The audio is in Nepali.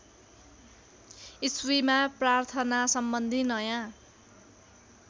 इस्वीमा प्रार्थनासम्बन्धी नयाँ